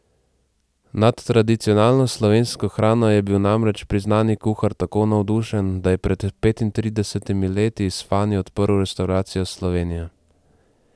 Nad tradicionalno slovensko hrano je bil namreč priznani kuhar tako navdušen, da je pred petintridesetimi leti s Fani odprl restavracijo Slovenija.